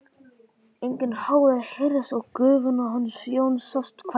Enginn hávaði heyrðist og Guðfinna hans Jóns sást hvergi.